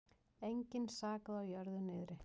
Engan sakaði á jörðu niðri.